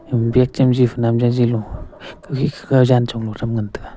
bag chemji khunam jaji lo jankho ma tham ngan tega.